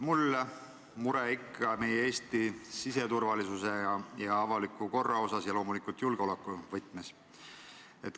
Mul on mure ikka meie Eesti siseturvalisuse ja avaliku korra pärast ning loomulikult julgeoleku võtmes.